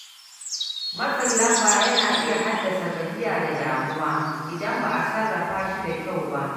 Matsin lamba yana iya haddasa gajiya da damuwa idan ba a sarrafa shi da kyau ba.